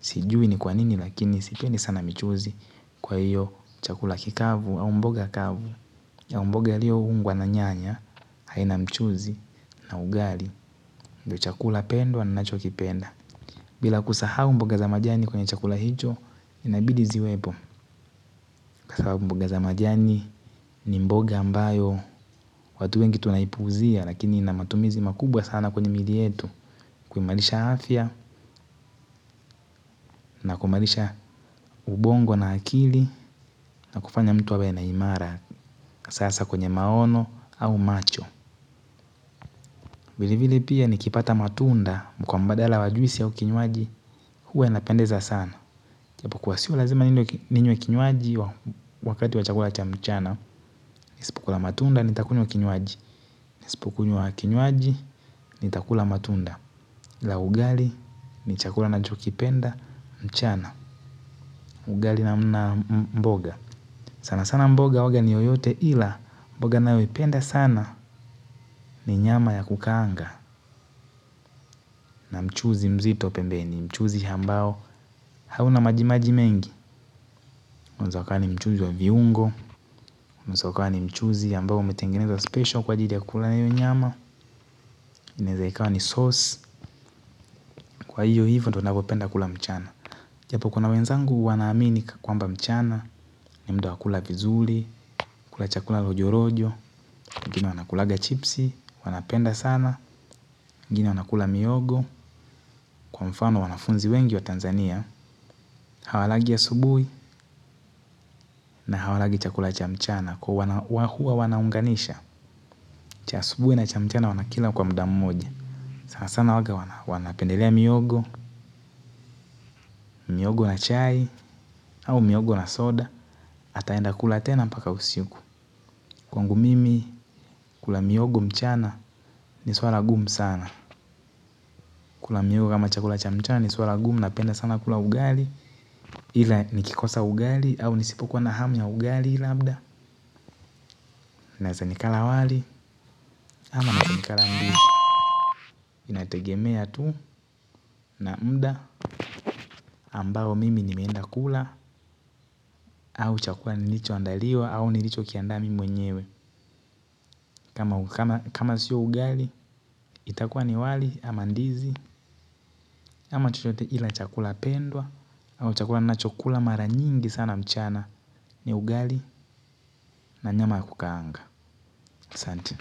sijui ni kwa nini lakini sipendi sana michuzi kwa hiyo chakula kikavu au mboga kavu au mboga iliyoungwa na nyanya haina mchuzi na ugali ndiyo chakula pendwa ninachokipenda. Bila kusahau mboga za majani kwenye chakula hicho, inabidi ziwepo kwa sababu mboga za majani ni mboga ambayo watu wengi tunaipuuzia lakini ina matumizi makubwa sana kwenye miili yetu kuimarisha afya, na kuimarisha ubongo na akili na kufanya mtu awe na imara sasa kwenye maono au macho. Vilevile pia nikipata matunda kwa mbadala wa juisi au kinywaji huwa inapendeza sana ijapokuwa siyo lazima ninywe kinywaji wakati wa chakula cha mchana. Nisipokula matunda nitakunywa kinywaji nisipokunywa kinywaji nitakula matunda la ugali ni chakula ninachokipenda mchana. Ugali na mbona. Sana sana mboga huwanga ni yoyote ila mboga ninayoipenda sana ni nyama ya kukangaa na mchuzi mzito pembeni mchuzi ambao hauna majimaji mengi mwanzo kama ni mchuzi wa viungo. Unaweza ukawa ni mchuzi ambao umetengenezwa special kwa ajili ya kukula hiyo nyama inaweza ikawa ni sauce. Kwa hiyo hivyo ndiyo ninavyopenda kula mchana japo kuna wenzangu wanaamini kwamba mchana ni muda wa kula vizuli, kula chakula rojorojo wengine wanakulanga chipsi, wanapenda sana wengine wanakula mihogo kwa mfano wanafunzi wengi wa Tanzania. Hawalangi asubuhi na hawalangi chakula cha mchana kwa hiyo huwa wanaunganisha cha asubuhi na cha mchana wanakila kwa muda mmoja. Sana sana huwanga wanapendelea mihogo, mihogo na chai au mihogo na soda hataenda kula tena mpaka usiku kwangu mimi kula mihogo mchana ni swala gumu sana. Kula mihogo kama chakula cha mchana ni swala gumu napenda sana kula ugali ila nikikosa ugali au nisipokuwa na hamu ya ugali labda naweza nikala wali ama naweza nikala ndizi inategemea tu na muda ambao mimi nimeenda kula au chakula nilichoandaliwa au nilichokiandaa mimi mwenyewe kama siyo ugali itakuwa ni wali ama ndizi ama chochote ila chakula pendwa hivyo chakula ninachokula mara nyingi sana mchana ni ugali na nyama ya kukangaa asante.